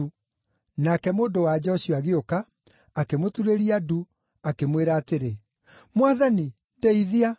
Nake mũndũ-wa-nja ũcio agĩũka, akĩmũturĩria ndu, akĩmwĩra atĩrĩ, “Mwathani, ndeithia!”